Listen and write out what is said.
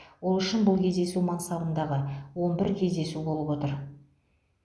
ол үшін бұл кездесу мансабындағы он бір кездесу болып отыр